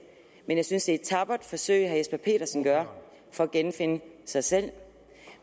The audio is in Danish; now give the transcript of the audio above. men jeg synes et tappert forsøg herre jesper petersen gør for at genfinde sig selv